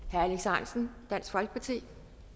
herre alex ahrendtsen dansk folkeparti